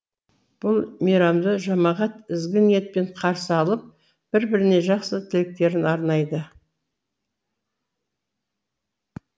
бұл мейрамды жамағат ізгі ниетпен қарсы алып бір біріне жақсы тілектерін арнайды